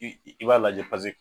I i i b'a lajɛ paze